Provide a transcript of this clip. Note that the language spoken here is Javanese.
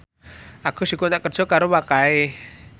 Agus dikontrak kerja karo Wakai